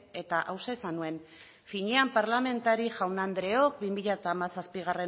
eta hauxe esan nuen finean parlamentari jaun andreok bi mila hamazazpigarrena